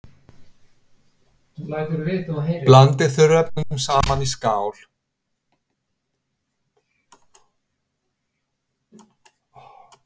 Blandið þurrefnunum saman í skál.